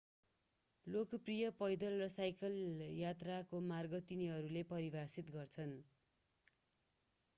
लोकप्रिय पैदल र साइकल यात्राको मार्ग तिनीहरूले परिभाषित गर्छन्